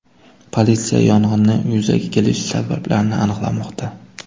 Politsiya yong‘inning yuzaga kelish sabablarini aniqlamoqda.